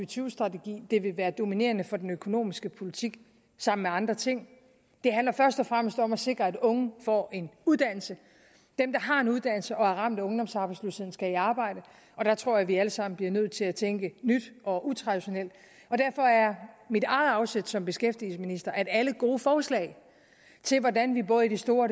tyve strategi det vil være dominerende for den økonomiske politik sammen med andre ting det handler først og fremmest om at sikre at unge får en uddannelse dem der har en uddannelse og er ramt af ungdomsarbejdsløshed skal i arbejde og der tror jeg vi alle sammen bliver nødt til at tænke nyt og utraditionelt og derfor er mit eget afsæt som beskæftigelsesminister at alle gode forslag til hvordan vi både i det store